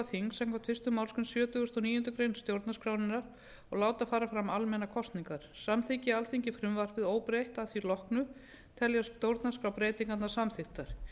þing samkvæmt fyrstu málsgrein sjötugustu og níundu grein stjórnarskrárinnar og láta fara fram almennar kosningar samþykki alþingi frumvarpið óbreytt að því loknu teljast stjórnarskrárbreytingarnar samþykktar